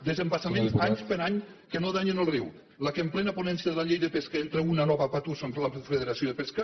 desembassaments any per any que no danyen el riu la que en plena ponència de la llei de pesca entra una nova batussa contra la federació de pesca